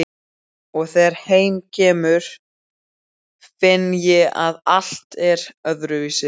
Og þegar heim kemur finn ég að allt er öðruvísi.